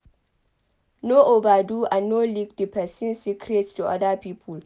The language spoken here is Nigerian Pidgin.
No overdo and no leak di person secret to oda people